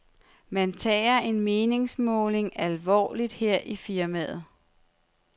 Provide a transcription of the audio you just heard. Man tager en meningsmåling alvorligt her i firmaet.